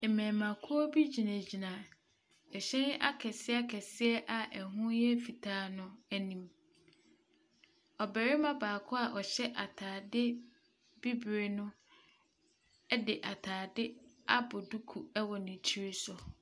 Mmɛɛma kua bi gyina gyina ɛhyɛn akɛseɛ akɛseɛ a ɛho yɛ fitaa no anim. Ɔbarima baako a ɔhyɛ ataade bibire no ɛde ataade abɔ duku ɛwɔ ne tiri so.